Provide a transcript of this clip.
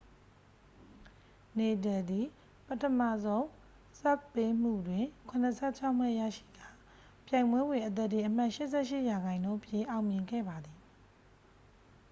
နေဒယ်သည် ပထမဆုံး ဆာ့ဗ်ပေးမှုတွင် 76 မှတ်ရရှိကာ ပြိုင်ပွဲတွင် အသားတင်အမှတ် 88% ဖြင့် အောင်မြင်ခဲ့ပါသည်